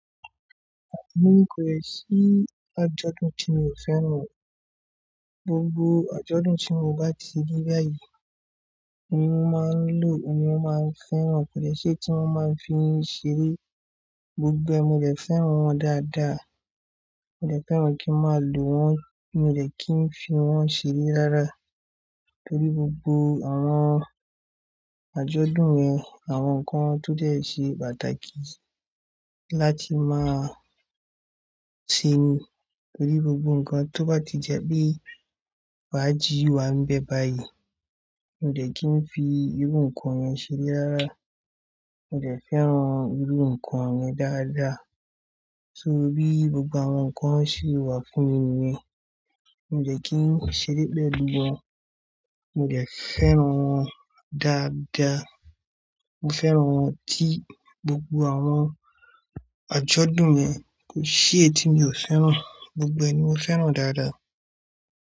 Èmi kò ni sí ni àjọ̀dún tí mi ò fẹ́ràn. Gbogbo àjọ̀dún tí mo bá ti rí báyìí ni máa ń lò, mi máa ń fẹ́ràn. Kò ṣe tí wọ́n máa fi ń ṣeré. Gbogbo ẹ ni mo de fẹ́ràn wọn dáadáa. Mi ò dè fẹ́ràn kí n máa lò wọ́n, mi ò lè kí ń fi wọ́n ṣeré rárá. Nítorí gbogbo àwọn àjọ̀dún mi àwọn nǹkan tó lè ṣe pàtàkì láti máa ṣi ni. Nítorí gbogbo nǹkan tó bá ti jẹ́ bí fàjì wà níbẹ̀ báyìí, mi ò dè kí ń fi irú nǹkan yẹn ṣeré rárá. Mi ò de fẹ́ràn irú nǹkan rẹ dáadáa. Torí gbogbo àwọn nǹkan sì wà fún mi nìyẹn. Mi ò dè kí ń ṣeré pẹ̀lú wọn, mi ò de fẹ́ràn wọn dáadáa. Mo fẹ́ràn wọn tí gbogbo àwọn àjọ̀dún mi kò ṣi éyi tí mi ò fẹ́ràn. Gbogbo ẹ ni mo fẹ́ràn dáadáa.